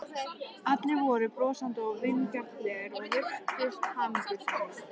Allir voru brosandi og vingjarnlegir og virtust hamingjusamir.